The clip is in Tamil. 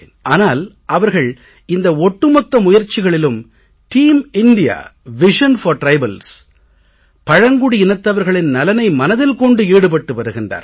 ஆனால் அவர்கள் இந்த ஒட்டு மொத்த முயற்சிகளிலும் team India vision for tribals பழங்குடி இனத்தவர்களின் நலனை மனதில் கொண்டு ஈடுபட்டு வருகிறார்கள்